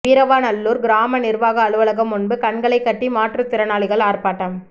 வீரவநல்லூர் கிராம நிர்வாக அலுவலகம் முன்பு கண்களைக் கட்டி மாற்றுத்திரனாளிகள் ஆர்ப்பாட்டம்